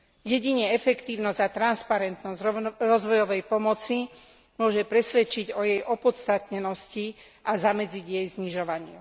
Jedine efektívnosť a transparentnosť rozvojovej pomoci môže presvedčiť o jej opodstatnenosti a zamedziť jej znižovaniu.